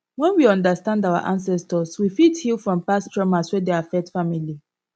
when we understand our ancestors we fit heal from past traumas wey dey affect family